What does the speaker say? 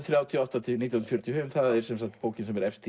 þrjátíu og átta til nítján fjörutíu og fimm bókin sem er efst